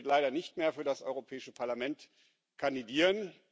Er wird leider nicht mehr für das Europäische Parlament kandidieren.